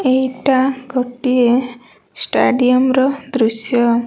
ଏହିଟା ଗୋଟିଏ ଷ୍ଟାଡିୟମ୍ ର ଦୃଶ୍ୟ।